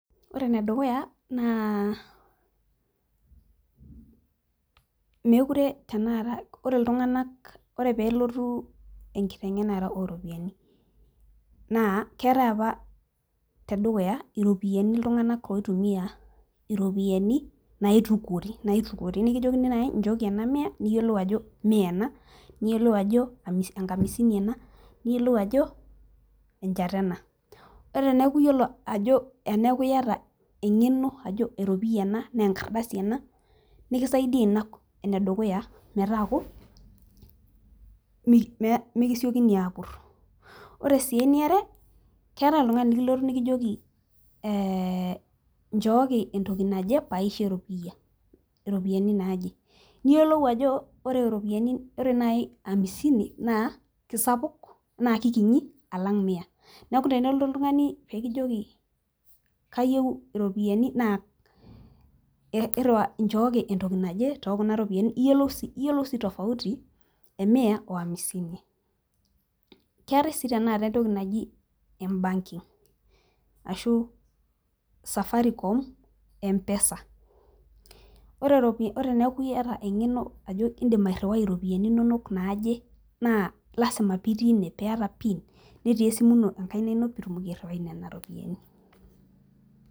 ore enedukuya naa mookire ore iltung'anak ore pee elotu enkiteng'enare ooropiyiani naa keetae apa iropiyiani iltung'anak oitumiya iropiyiani naitukuori nikijokini naaji ichooki enamiya niyiolou ajo miya ena , niyiolou ajo enkamisini ena , niyiolou ajo enchata ena , ore eneeku iyata eng'eno ajo eropiyia ena naa enkardasi ena nikisaidia ina enedukuya metaaku mikisiokini aapur , ore sii eniare keetae oltung'ani likijoki nchooki entoki naje pee aisho eropiyiani naaje niyiolou ajo niyiolou ajo ore amisini naa kikinyi alang' miya neeku tenelotu oltung'ani pee kijoki kayieu iropiyiani nchooki entoki naje naa iyiolou sii tofauti emiya oo amisini keetae sii tenakata entoki naji embarking ashu Safaricom empesa ore teneeku iyiata eng'eno ajo idim airiwai iropiyiani inonok naaje naa ilasima pee itii ene pee itumoki aishoi pin netii esimu ino enkaina ino.